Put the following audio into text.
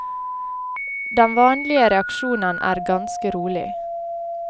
Den vanlige reaksjonen er ganske rolig.